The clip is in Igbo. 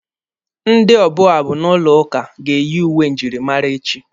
Ndị ọbụ abụ n'ụlọ ụka ga-eyi uwe njirimara echi.